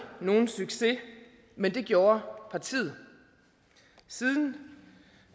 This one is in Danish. nogen succes men det gjorde partiet siden